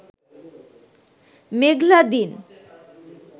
মেঘলা দিন